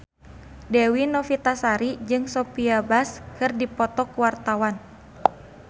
Dewi Novitasari jeung Sophia Bush keur dipoto ku wartawan